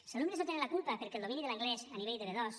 els alumnes no en tenen la culpa perquè el domini de l’anglès a nivell de b2